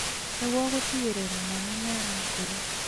nĩguo gũtigĩrĩra mwana nĩ arakũra.